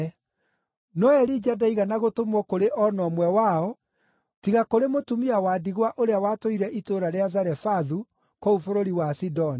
No Elija ndaigana gũtũmwo kũrĩ o na ũmwe wao, tiga kũrĩ mũtumia wa ndigwa ũrĩa watũire itũũra rĩa Zarefathu kũu bũrũri wa Sidoni.